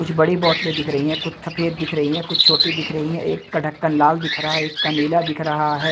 कुछ बड़ी बोतलें दिख रही है कुछ सफेद दिख रही है कुछ छोटी दिख रही है एक का ढक्कन लाल दिख रहा है एक का नीला दिख रहा है।